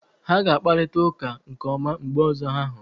Ha ga-akparịta ụka nke ọma mgbe ọzọ ha hụrụ